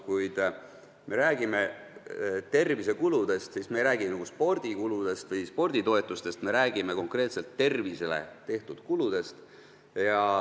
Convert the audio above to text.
Kui meie räägime tervisekulutustest, siis me ei räägi kulutustest spordile või sporditoetustest, me räägime konkreetselt tervisele tehtud kulutustest.